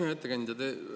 Hea ettekandja!